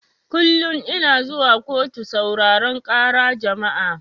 Kullun ina zuwa kotu sauraran ƙara jama'a